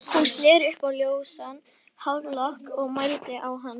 Hún sneri upp á ljósan hárlokk og mændi á hann.